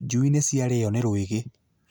Njui nĩ ciarĩo nĩ rwĩgĩ